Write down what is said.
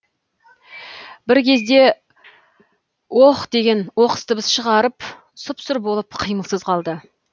бір кезде ох деген оқыс дыбыс шығарып сұп сұр болып қимылсыз қалды